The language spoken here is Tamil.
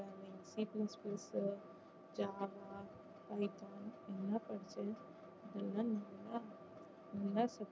PPMCSSgroup ஜாவா, பைத்தான் எல்லா படிச்சு எல்லாம் நல்லா